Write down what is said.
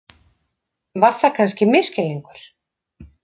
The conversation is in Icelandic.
Var það kannski misskilningur?